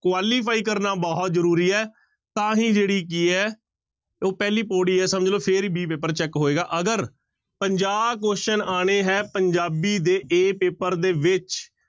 Qualify ਕਰਨਾ ਬਹੁਤ ਜ਼ਰੂਰੀ ਹੈ ਤਾਂ ਹੀ ਜਿਹੜੀ ਕੀ ਹੈ ਉਹ ਪਹਿਲੀ ਪਾਉੜੀ ਹੈ ਸਮਝ ਲਓ ਫਿਰ ਹੀ b ਪੇਪਰ check ਹੋਏਗਾ, ਅਗਰ ਪੰਜਾਹ question ਆਉਣੇ ਹੈ ਪੰਜਾਬੀ ਦੇ a ਪੇਪਰ ਦੇ ਵਿੱਚ।